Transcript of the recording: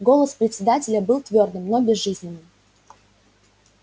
голос председателя был твёрдым но безжизненным